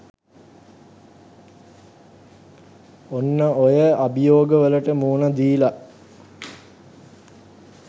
ඔන්න ඔය අභියෝගවලට මුහුනදීල